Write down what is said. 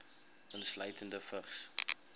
insluitende vigs